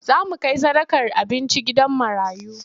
Za mu kai sadakar abinci gidan marayu.